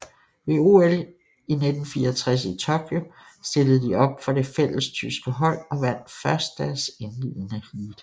Ved OL 1964 i Tokyo stillede de op for det fællestyske hold og vandt først deres indledende heat